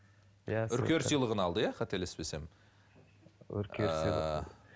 үркер сыйлығын алды иә қателеспесем үркер сыйлық ыыы